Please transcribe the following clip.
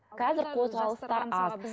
қазір қозғалыстар аз